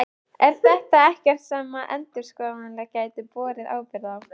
Er þetta ekkert sem að endurskoðendur gætu borið ábyrgð á?